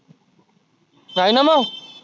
आहेना मग